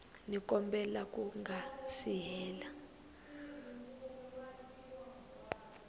xikombelo ku nga si hela